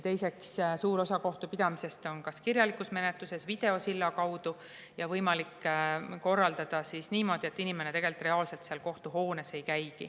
Teiseks, suur osa kohtupidamisest on kirjaliku menetluse abil või videosilla kaudu võimalik korraldada niimoodi, et inimene tegelikult reaalselt kohtuhoones ei käigi.